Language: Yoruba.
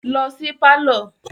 Lọ sí pálọ̀